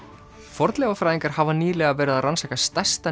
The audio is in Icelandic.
fornleifafræðingar hafa nýlega verið að rannsaka stærsta